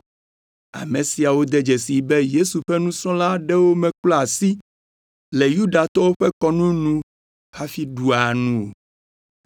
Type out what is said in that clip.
Ame siawo de dzesii be Yesu ƒe nusrɔ̃la aɖewo meklɔa asi le Yudatɔwo ƒe kɔnu nu hafi ɖua nu o.